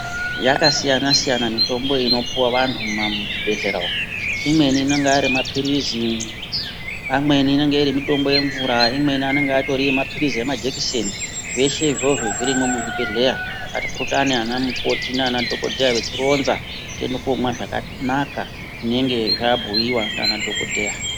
Yakasiyana siyana mitombo inopiwa vantu mumazvibhedhlera umo , imweni inonga arimaphirizi , imweni inonga iri mitombo yemvura , imweni anonga atori maphirizi emajekiseni zveshe izvozvo zvirimwo muzvibhedhlera ,atipurutani anamukoti nana dhokodheya vechironza tiende komwa zvakanaka zvinenge zvabhuyiwa nana dhokodheya.